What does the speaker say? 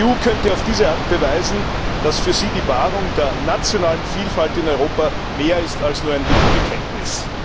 Die EU könnte auf diese Art beweisen, dass für sie die Wahrung der nationalen Vielfalt in Europa mehr ist als nur ein Lippenbekenntnis.